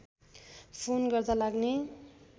phone गर्दा लाग्ने